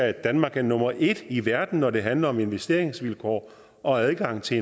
at danmark er nummer en i verden når det handler om investeringsvilkår og adgang til